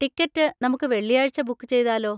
Ticket നമുക്ക് വെള്ളിയാഴ്ച book ചെയ്താലോ?